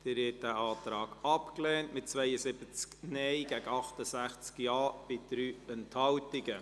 Sie haben den Antrag abgelehnt, mit 72 Nein- gegen 68 Ja-Stimmen bei 3 Enthaltungen.